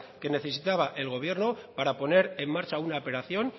que necesita el gobierno para poner en marcha una operación